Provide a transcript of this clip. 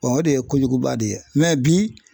o de ye kojuguba de ye bi